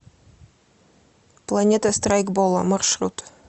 планета страйкбола маршрут